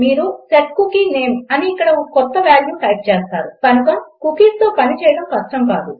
మీరు set cookie name అని ఇక్కడ ఒక క్రొత్త వాల్యూ టైప్ చేస్తారు కనుక కుకీస్తో పని చేయడం కష్టం కాదు